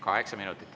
Kaheksa minutit.